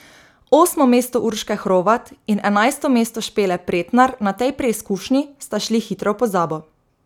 Osmo mesto Urške Hrovat in enajsto mesto Špele Pretnar na tej preizkušnji sta šli hitro v pozabo.